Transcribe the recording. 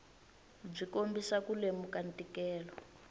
byi kombisa ku lemuka ntikelo